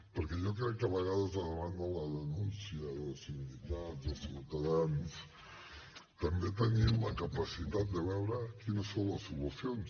perquè jo crec que a vegades davant de la denúncia de sindicats de ciutadans també tenim la capacitat de veure quines són les solucions